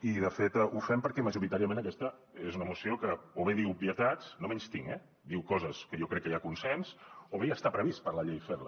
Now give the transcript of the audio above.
i de fet ho fem perquè majoritàriament aquesta és una moció que o bé diu obvietats no menystinc eh diu coses que jo crec que hi ha consens o bé ja està previst per la llei fer les